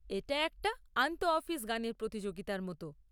এটা একটা আন্তঃঅফিস গানের প্রতিযোগিতার মতো।